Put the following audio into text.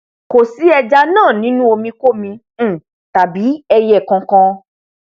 kò sí ẹja náà nínú omi kómi um tàbí ẹiyẹ kankan